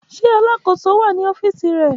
Ṣe Alakoso wa ni ọfiisi rẹ?